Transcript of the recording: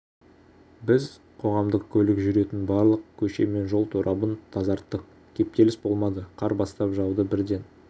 біз қоғамдық көлік жүретін барлық көше мен жол торабын тазарттық кептеліс болмады қар бастап жауды бірден